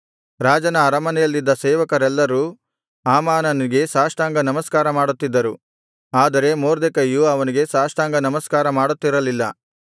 ರಾಜನ ಅರಮನೆಯಲ್ಲಿದ್ದ ಸೇವಕರೆಲ್ಲರೂ ಹಾಮಾನನಿಗೆ ಸಾಷ್ಟಾಂಗನಮಸ್ಕಾರ ಮಾಡುತ್ತಿದ್ದರು ಆದರೆ ಮೊರ್ದೆಕೈಯು ಅವನಿಗೆ ಸಾಷ್ಟಾಂಗನಮಸ್ಕಾರ ಮಾಡುತ್ತಿರಲಿಲ್ಲ